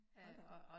Hold da op